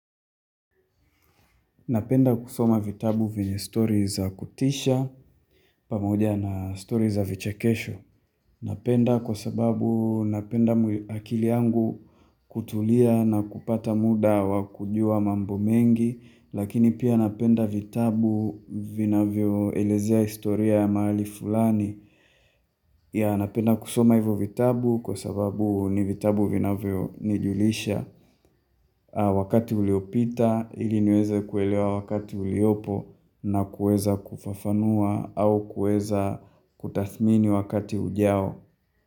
Napenda kusoma vitabu vyenye story za kutisha pamoja na story za vichekesho. Napenda kwa sababu napenda akili yangu kutulia na kupata muda wakujua mambo mengi. Lakini pia napenda vitabu vinavyo elezea historia ya mahali fulani. Ya napenda kusoma hivo vitabu kwa sababu ni vitabu vinavyo nijulisha. Wakati uliopita, ili niweze kuelewa wakati uliopo na kueza kufafanua au kueza kutathmini wakati ujao.